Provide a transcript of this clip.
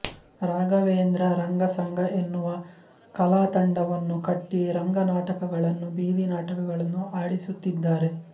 ರಾಘವೇಂದ್ರ ರಂಗಸಂಗ ಎನ್ನುವ ಕಲಾತಂಡವನ್ನು ಕಟ್ಟಿ ರಂಗನಾಟಕಗಳನ್ನು ಬೀದಿನಾಟಕಗಳನ್ನು ಆಡಿಸುತ್ತಿದ್ದಾರೆ